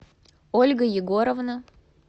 ольга егоровна